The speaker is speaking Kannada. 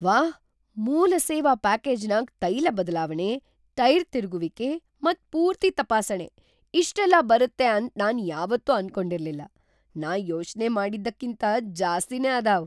ವಾಹ್, ಮೂಲ ಸೇವಾ ಪ್ಯಾಕೇಜನಾಗ್ ತೈಲ ಬದ್ಲಾವಣೆ, ಟೈರ್ ತಿರ್ಗುವಿಕೆ ಮತ್ ಪೂರ್ತಿ ತಪಾಸಣೆ ಇಷ್ಟೆಲ್ಲಾ ಬರುತ್ತೆ ಅಂತ ನಾನ್ ಯಾವತ್ತೂ ಅನ್ಕೊಂಡಿರಲ್ಲಿಲ್ ನಾ ಯೋಚನೆ ಮಾಡಿದ್ದಕ್ಕಿಂತ ಜ್ಯಾಸ್ತಿನೆ ಅದಾವ್ !